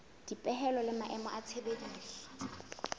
dipehelo le maemo a tshebediso